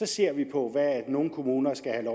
ser på at nogle kommuner skal have